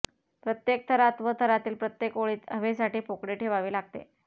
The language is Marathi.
प्रत्येक थरात व थरातील प्रत्येक ओळीत हवेसाठी पोकळी ठेवावी लागते